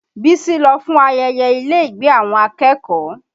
Bísí lọ fún ayẹyẹ ilé ìgbé àwọn akẹ́kọ̀ọ́